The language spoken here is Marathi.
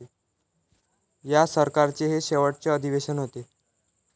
या सरकारचे हे शेवटचे अधिवेशन होते.